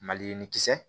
Maliyirini kisɛ